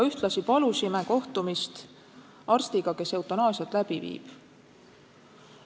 Ühtlasi palusime kohtumist arstiga, kes eutanaasiat läbi viib.